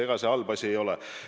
Ega see halb asi ei ole.